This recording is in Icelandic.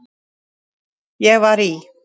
Ég var í